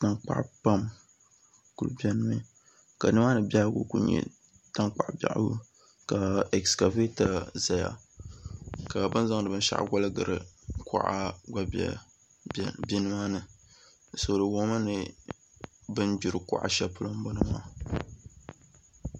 Tankpaɣu pam ku biɛni mi ka nimaani biɛhagu ku nyɛ tankpaɣu biɛhagu ka ɛskavɛta